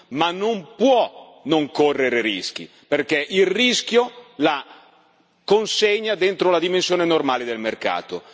ma non può non correre rischi, perché il rischio la consegna dentro la dimensione normale del mercato.